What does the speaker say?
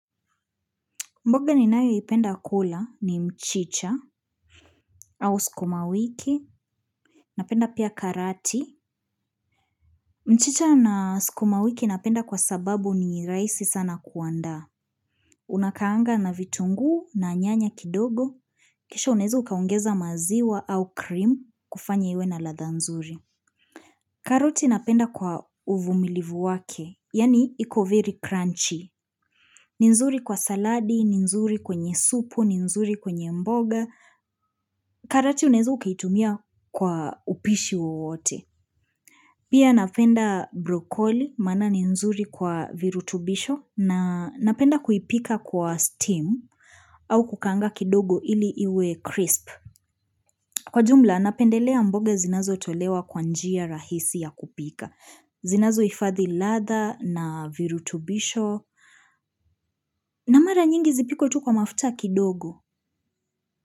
Mboga ninayoipenda kula ni mchicha au sukumawiki. Napenda pia karati. Mchicha na sukumawiki napenda kwa sababu ni rahisi sana kuandaa. Unakaanga na vitungu na nyanya kidogo. Kisha unaweza ukaongeza maziwa au cream kufanya iwe na ladha nzuri. Karoti napenda kwa uvumilivu wake. Yaani iko very crunchy. Ni nzuri kwa saladi, ni nzuri kwenye supu, ni nzuri kwenye mboga. Karati unaweza ukaitumia kwa upishi wowote. Pia napenda brokoli, maana ni nzuri kwa virutubisho na napenda kuipika kwa steam au kukaanga kidogo ili iwe crisp. Kwa jumla, napendelea mboga zinazotolewa kwa njia rahisi ya kupika. Zinazohifadhi ladha na virutubisho na mara nyingi zipikwe tu kwa mafuta kidogo.